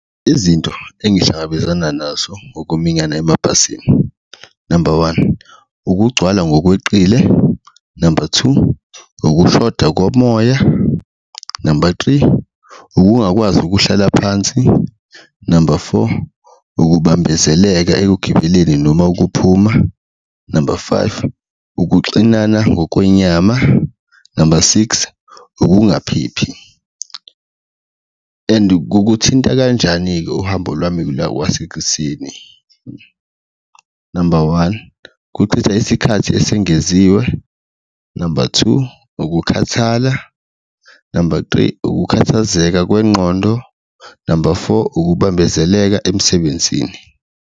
Izinto engihlangabezana nazo ngokuminyana emabhasini, number one, ukugcwala ngokweqile, number two, ukushoda komoya, number three, ukungakwazi ukuhlala phansi, number four, ukubambezeleka ekugibeleni noma ukuphuma, number five, ukuxinana ngokwenyama, number six, ukungaphephi. And kukuthinta kanjani-ke uhambo lwami kwasekuseni, number one, kuchitha isikhathi esengeziwe, number two, ukukhathala, number three, ukukhathazeka kwengqondo, number four, ukubambezeleka emsebenzini.